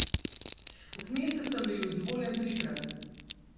V kneset sem bil izvoljen trikrat.